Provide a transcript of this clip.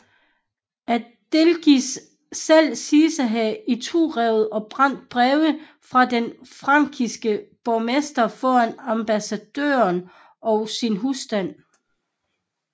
Aldegisel selv siges at have iturevet og brændt brevet fra den frankiske borgmester foran ambassadørerne og sin husstand